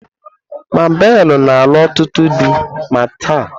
Mabelu na alu otutu di ma taa